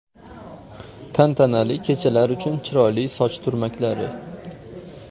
Tantanali kechalar uchun chiroyli soch turmaklari .